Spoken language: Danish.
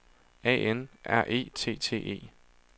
A N R E T T E